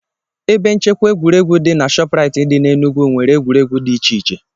Ebe nchekwa egwuregwu dị na ShopRite dị n'Enugwu nwere egwuregwu dị iche iche.